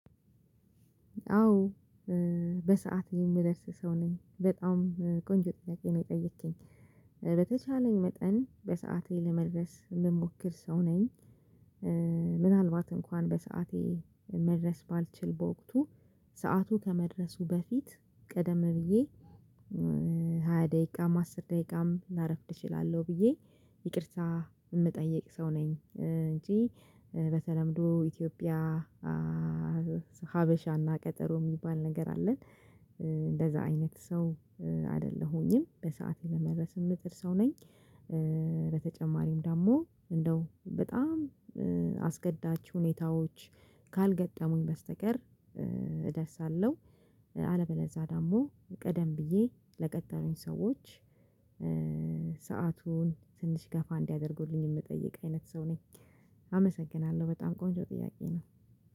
አዎ በሰአት የምደርስ ሰው ነኝ በጣም ቆንጆ ጥያቄ ነው የጠየከኝ በተቻለኝ መጠን በሰአቴ ለመድረስ የምሞክር ሰው ነኝ። ምናልባት እንኳን በሰአቴ መድረስ ባልችል በወቅቱ ሰዓቱ ከመድረሱ በፊት ቀደም ብዬ ሃያ ደቂቃም አስር ደቂቃም ላረፍድ እችላለሁ ብዬ ይቅርታ የምጠይቅ ሰው ነኝ እንጂ። በተለምዶ ኢትዮጵያ ሀበሻና ቀጠሮ የሚባል ነገር አለን እንደዛ አይነት ሰው አይደለሁኝም። በሰአት ለመድረስ የምትል ሰው ነኝ። በተጨማሪም ደግሞ እንደው በጣም አስገዳጅ ሁኔታዎች ካልገጠሙኝ በስተቀር እደርሳለሁ። አለበለዛ ደግሞ ቀደም ብዬ ለቀጠሩኝ ሰዎች ሰአቱን ትንሽ ገፋ እንዲያደርጉልኝ የምጠይቅ አይነት ሰው ነኝ። አመሰግናለሁ በጣም ቆንጆ ጥያቄ ነው።